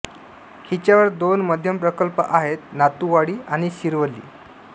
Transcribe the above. हिच्यावर दोन मध्यम प्रकल्प आहेत नातूवाडी आणि शिरवली